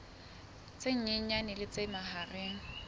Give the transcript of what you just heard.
tse nyenyane le tse mahareng